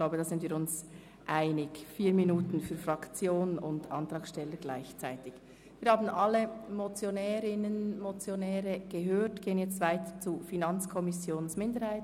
Wir haben nun alle Motionärinnen und Motionäre gehört und gehen nun weiter zur FiKo-Minderheit.